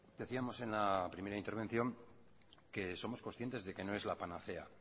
decíamos en la primera intervención que somos conscientes de que no es la panacea